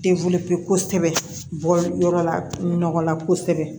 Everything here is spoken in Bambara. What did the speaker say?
ko kosɛbɛ bɔ yɔrɔ la nɔgɔ la kosɛbɛ